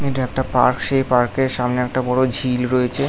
এটা একটা পার্ক সেই পার্ক -এর সামনে একটা বড়ো ঝিল রয়েছে।